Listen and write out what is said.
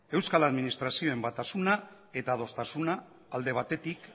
euskal administrazioen batasuna eta adostasuna alde batetik